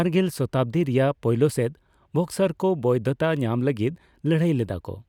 ᱵᱟᱜᱮᱞ ᱥᱚᱛᱟᱵᱽᱫᱤ ᱨᱮᱭᱟᱜ ᱯᱳᱭᱞᱳ ᱥᱮᱫ, ᱵᱚᱠᱥᱥᱟᱨ ᱠᱚ ᱵᱳᱭᱫᱷᱚᱛᱟ ᱧᱟᱢ ᱞᱟᱹᱜᱤᱫ ᱞᱟᱹᱲᱦᱟᱹᱭ ᱞᱮᱫᱟ ᱠᱚ ᱾